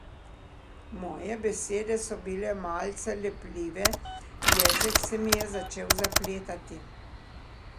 Moje besede so bile malce lepljive, jezik se mi je začel zapletati.